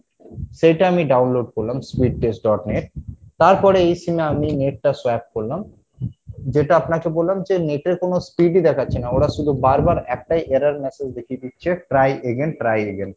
সেটা আমি download করলাম speed test dot net তারপরে এই sim এ আমি net টা swap করলাম যেটা আপনাকে বললাম যে net এর কোনো speed ই দেখাচ্ছে না ওরা শুধু বারবার একটাই error message দেখিয়ে দিচ্ছে try again try again